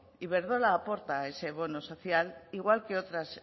iberdrola aporta a ese bono social igual que otras